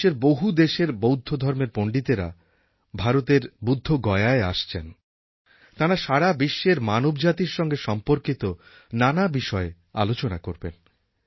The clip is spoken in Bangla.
বিশ্বের বহু দেশের বৌদ্ধ ধর্মের পণ্ডিতেরা ভারতের বুদ্ধগয়ায় আসছেন তাঁরা সারা বিশ্বের মানবজাতির সঙ্গে সম্পর্কিত নানা বিষয়ে আলোচনা করবেন